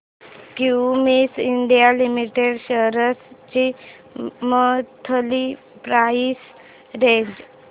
Cummins India limited shares ची monthly price range